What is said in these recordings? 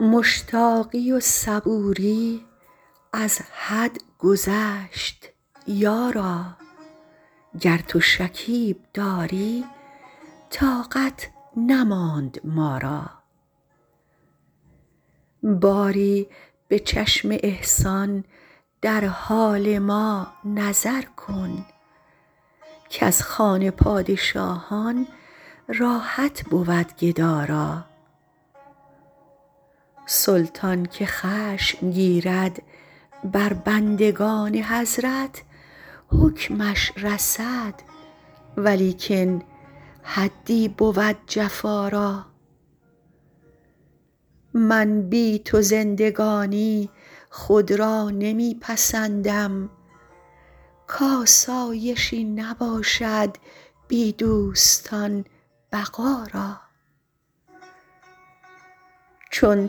مشتاقی و صبوری از حد گذشت یارا گر تو شکیب داری طاقت نماند ما را باری به چشم احسان در حال ما نظر کن کز خوان پادشاهان راحت بود گدا را سلطان که خشم گیرد بر بندگان حضرت حکمش رسد ولیکن حدی بود جفا را من بی تو زندگانی خود را نمی پسندم کآسایشی نباشد بی دوستان بقا را چون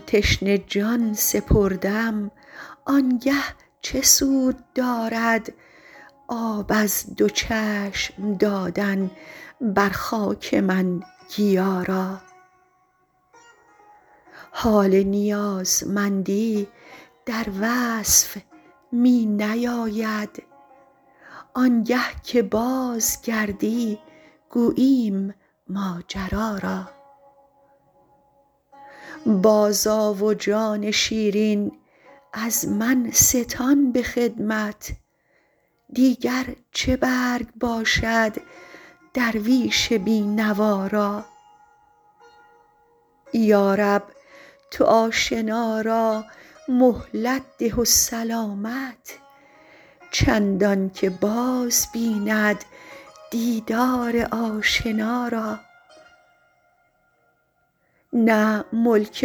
تشنه جان سپردم آن گه چه سود دارد آب از دو چشم دادن بر خاک من گیا را حال نیازمندی در وصف می نیاید آن گه که بازگردی گوییم ماجرا را بازآ و جان شیرین از من ستان به خدمت دیگر چه برگ باشد درویش بی نوا را یا رب تو آشنا را مهلت ده و سلامت چندان که باز بیند دیدار آشنا را نه ملک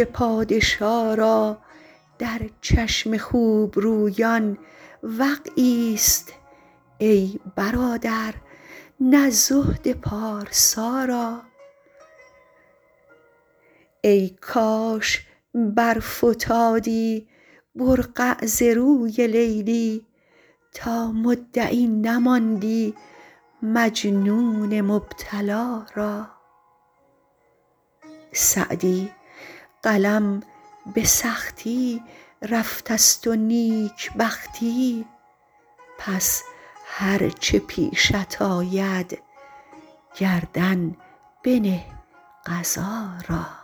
پادشا را در چشم خوب رویان وقعی ست ای برادر نه زهد پارسا را ای کاش برفتادی برقع ز روی لیلی تا مدعی نماندی مجنون مبتلا را سعدی قلم به سختی رفته ست و نیک بختی پس هر چه پیشت آید گردن بنه قضا را